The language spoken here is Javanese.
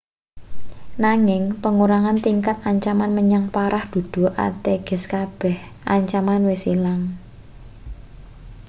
nanging pengurangan tingkat ancaman menyang parah dudu ateges kabeh ancaman wis ilang